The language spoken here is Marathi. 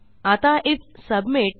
आता आयएफ सबमिट